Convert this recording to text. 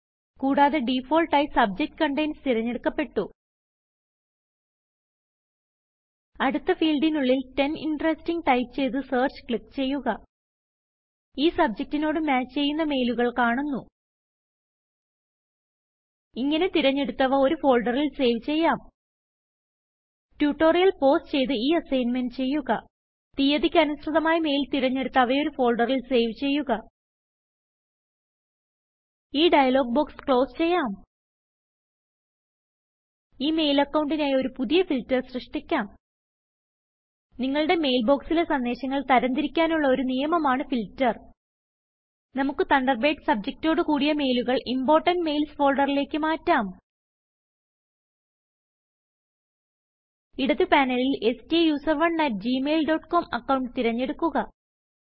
കുടാതെ ഡിഫാൾട്ടായി സബ്ജക്ട് Containsതിരഞ്ഞെടുക്കപ്പെട്ടു അടുത്ത ഫീൽഡിനുള്ളിൽ ടെൻ ഇന്ററസ്റ്റിംഗ് ടൈപ്പ് ചെയ്ത് Searchക്ലിക്ക് ചെയ്യുക ഈ സബ്ജക്റ്റിനോട് മാച്ച് ചെയ്യുന്ന മെയിലുകൾ കാണുന്നു ഇങ്ങനെ തിരഞ്ഞെടുത്തവ ഒരു ഫോൾഡറിൽ സേവ് ചെയ്യാം ട്യൂട്ടോറിയൽ പൌസ് ചെയ്ത് ഈ അസ്സിഗ്ന്മെന്റ് ചെയ്യുക തീയതിക്ക് അനുസൃതമായി മെയിൽ തിരഞ്ഞെടുത്ത് അവ ഒരു ഫോൾഡറിൽ സേവ് ചെയ്യുക ഈ ഡയലോഗ് ബോക്സ് ക്ലോസ് ചെയ്യാം ഈ മെയിൽ അക്കൌണ്ടിനായ് ഒരു പുതിയ ഫിൽറ്റർ സൃഷ്ടിക്കാം നിങ്ങളുടെ മെയിൽ ബൊക്സിലെ സന്ദേശങ്ങൾ തരംതിരിക്കാനുള്ള ഒരു നിയമമാണ് ഫിൽറ്റർ നമുക്ക് തണ്ടർബേഡ് സബ്ജക്റ്റൊട് കുടിയ മെയിലുകൾ ഇംപോർട്ടന്റ് Mailsഫോൾഡറിലേക്ക് മാറ്റാം ഇടത് പാനലിൽ STUSERONEgmail ഡോട്ട് കോം അക്കൌണ്ട് തിരഞ്ഞെടുക്കുക